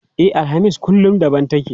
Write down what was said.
E, alhamis kullum daban take.